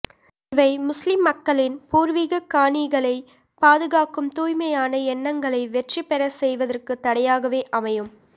இவை முஸ்லிம் மக்களின் பூர்வீகக் காணிகளை பாதுகாக்கும் தூய்மையான எண்ணங்களை வெற்றிபெறச்செய்வதற்கு தடையாகவே அமையும்